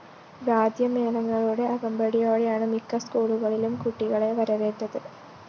വാദ്യമേളങ്ങളുടെ അകമ്പടിയോടയാണ് മിക്ക സ്‌കൂളുകളിലും കുട്ടികളെ വരവേറ്റത്